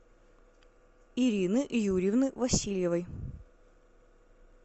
ирины юрьевны васильевой